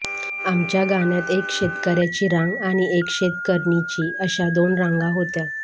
आमच्या गाण्यात एक शेतकर्यांची रांग आणि एक शेतकरणींची अशा दोन रांगा होत्या